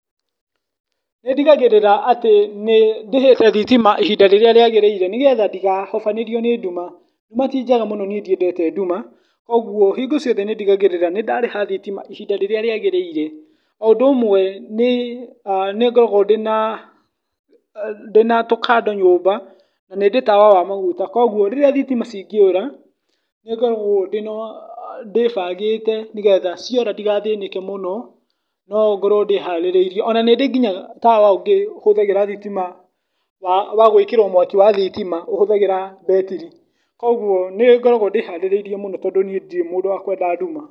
Nĩ ndigagĩrĩra atĩ nĩ ndĩhĩte thitima ihinda rĩrĩa rĩagĩrĩire nĩgetha ndĩgahobanĩrio nĩ nduma, nduma ti njega mũno niĩ ndiendete nduma, kuogwo hingo ciothe nĩ ndigagĩrĩra nĩdarĩha thitima ihinda rĩrĩa rĩagĩrĩire, o ũndũ ũmwe nĩ ngoragwo ndĩna tũ candle nyũmba na nĩndĩ tawa wa maguta, kũgwo rĩra thitima cingĩũra nĩngoragwo ndĩbangĩte nĩgetha ciora ndĩgathĩnĩke mũno no ngorwo ndĩharĩrĩirie, ona nĩndĩ nginya tawa ũngĩ ũhũthagĩra thitima wa gwĩkĩrwo mwaki wa thitima ũhũthagĩra betiri, kũgwo nĩngoragwo ndĩharĩrĩirie mũno tondũ niĩ ndirĩ mũndũ wa kwenda nduma.